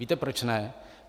Víte proč ne?